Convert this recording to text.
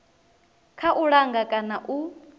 kha u langa kana u